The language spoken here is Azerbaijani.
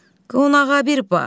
Qonağa bir bax.